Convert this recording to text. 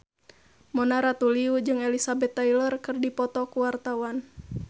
Mona Ratuliu jeung Elizabeth Taylor keur dipoto ku wartawan